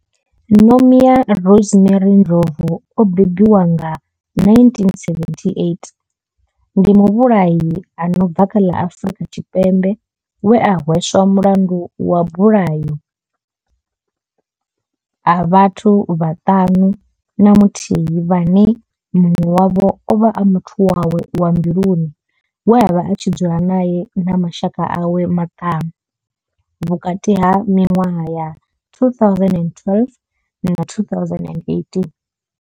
Nomia Rosemary Ndlovu o bebiwaho nga 1978 ndi muvhulahi a no bva kha ḽa Afurika Tshipembe we a hweswa mulandu wa mabulayo a vhathu vhaṱanu na muthihi vhane munwe wavho ovha a muthu wawe wa mbiluni we avha a tshi dzula nae na mashaka awe maṱanu vhukati ha minwaha ya 2012 na 2018.